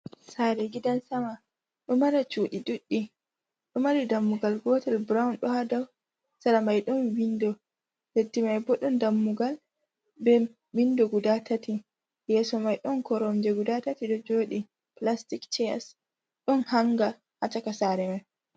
Sare gidan sama do mari cudi ɗuddi do mari dammugal gotel brown do hada miɗn bindo b dammugal b g3 yeso mai don koronje gud3 jodi plastic chairs don hanga ha caka sare mai.